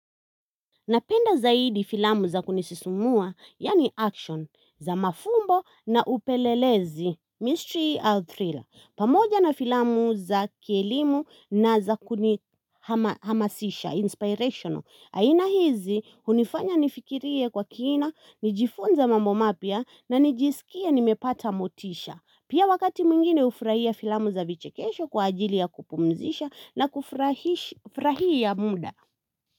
Napenda zaidi filamu za kunisisumua, yaani action, za mafumbo na upelelezi, mystery au thriller. Pamoja na filamu za kielimu na za kunihamasisha, inspirational. Aina hizi, hunifanya nifikirie kwa kiina, nijifunze mambo mapya na nijisikia nimepata motisha. Pia wakati mwingine hufurahia filamu za vichekesho kwa ajili ya kupumzisha na kufurahia muda.